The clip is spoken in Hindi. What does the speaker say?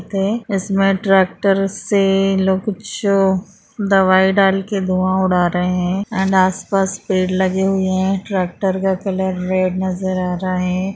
इसमें ट्रैक्टर से लोग कुछ दवाई डालके धुआँ उड़ा रहे है एंड आस - पास पेड़ लगे हुये है ट्रैक्टर का कलर रेड नज़र आ रहा हैं।